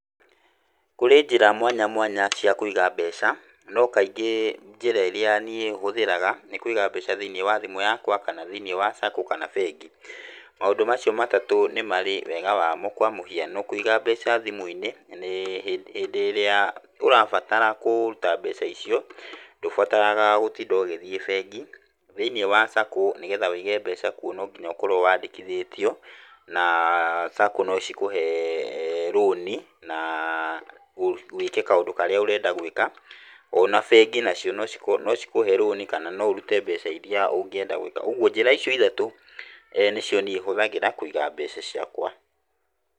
Kũrĩ njĩra mwanya mwanya cia kũiga mbeca, no kaingĩ njĩra iria niĩ hũthagĩraga nĩ kũigía mbeca thĩinĩ wa thimũ yakwa, kana thĩiniĩ wa SACCO, kana bengi. Maũndũ macio matatũ nĩ marĩ wega wamo, kwa mũhiano kũiga mbeca thimũ-inĩ, hĩndĩ ĩrĩa ũrabatara kũruta mbeca icio, ndũbataraga gũtinda ũgĩthiĩ bengi. Thĩinĩ wa SACCO, nĩgetha wũige mbeca kuo no nginya ũkorwo wandĩkithĩtio, na SACCO no cikũhe rũni na wĩke kaũndũ karĩa ũrenda gwĩka. O na bengi nacio no cikũhe no cikũhe rũni kana no ũrute mbeca iria ũngĩenda gũĩka. Ũguo njĩra icio ithatũ nĩ cio niĩ hũthagĩra kũiga mbeca ciakwa.